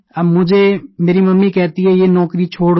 अब मुझे मेरी मम्मी कहती हैं ये नौकरी छोड़ दो